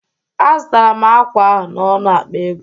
Azụtara m akwa ahụ n'ọnụ akpa ego